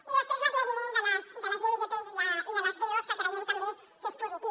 i després l’aclariment de les igps i de les dos que creiem també que és positiu